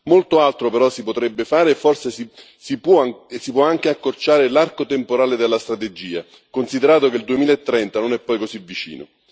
Molto altro però si potrebbe fare, e forse si può anche accorciare l'arco temporale della strategia, considerato che il 2030 non è poi così vicino.